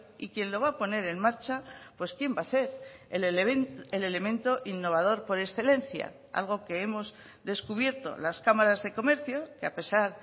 y quien lo va a poner en marcha pues quién va a ser el elemento innovador por excelencia algo que hemos descubierto las cámaras de comercio que a pesar